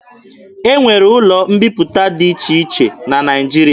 E nwere ụlọ mbiputa dị iche iche na Naịjirịa.